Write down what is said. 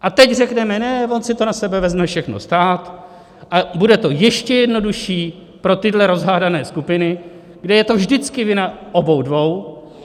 A teď řekneme ne, on si to na sebe vezme všechno stát a bude to ještě jednodušší pro tyhle rozhádané skupiny, kde je to vždycky vina obou dvou.